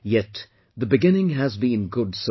Yet, the beginning has been good so far